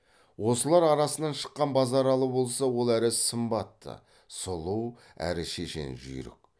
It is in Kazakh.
осылар арасынан шыққан базаралы болса ол әрі сымбатты сұлу әрі шешен жүйрік